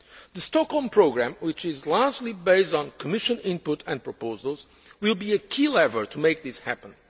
The Stockholm Programme, which is largely based on Commission input and proposals, will be a key lever to make this